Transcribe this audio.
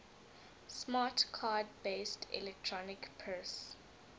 smart card based electronic purse